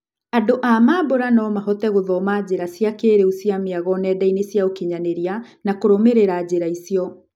Andũ a mambũra nomahote gũthoma njĩra cia kĩĩrĩu cia mĩago nendainĩ cia ũkinyanĩria nakũrũmĩrĩra njĩra icio.